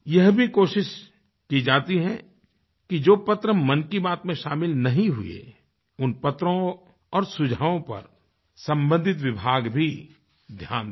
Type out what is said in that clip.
यह भी कोशिश की जाती है कि जो पत्र मन की बात में शामिल नहीं हुए उन पत्रों और सुझावों पर सम्बंधित विभाग भी ध्यान दें